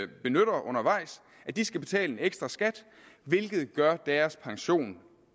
benytter undervejs skal betale en ekstra skat hvilket gør deres pension